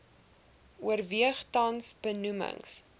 oorweeg tans benoemings